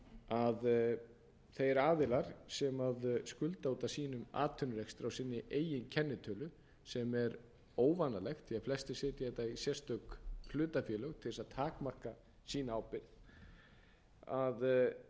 að þeir aðilar sem skulda út af sínum atvinnurekstri á sinni eigin kennitölu sem er óvanalegt því flestir setja þetta í sérstök hlutafélög til að takmarka sína ábyrgð eru í rauninni að